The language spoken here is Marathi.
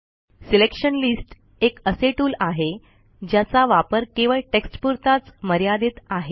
सिलेक्शन लिस्ट एक असे टूल आहे ज्याचा वापर केवळ टेक्स्टपुरताच मर्यादित आहे